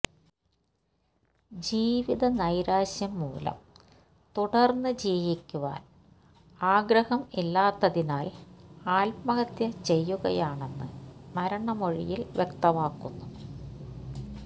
ജീവിത നൈരാശ്യം മൂലം തുടര്ന്ന് ജീവിക്കുവാന് ആഗ്രഹം ഇല്ലാത്തതിനാല് ആത്മഹത്യ ചെയ്യുകയാണെന്ന് മരണമൊഴിയില് വ്യക്തമാക്കുന്നു